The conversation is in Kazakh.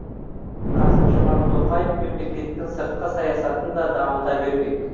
қасым жомарт тоқаев мемлекеттің сыртқы саясатын да дамыта бермек